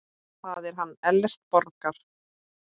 Það er hann Ellert Borgar.